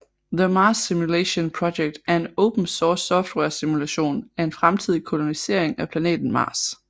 The Mars Simulation Project er en open source software simulation af en fremtidig kolonisering af planeten Mars